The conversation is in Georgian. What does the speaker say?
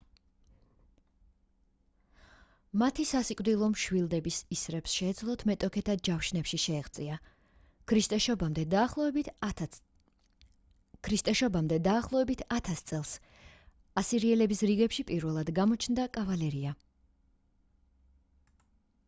მათი სასიკვდილო მშვილდების ისრებს შეეძლოთ მეტოქეთა ჯავშნებში შეღწევა ქრისტესშობამდე დაახლოებით 1000 წელს ასირიელების რიგებში პირველად გამოჩნდა კავალერია